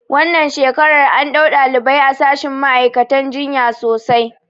Wannan shekarar an ɗau ɗalibai a shashin ma'aikatan jinya sosai